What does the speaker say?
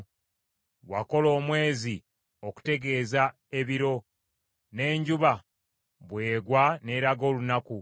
Wakola omwezi okutegeeza ebiro; n’enjuba bw’egwa n’eraga olunaku.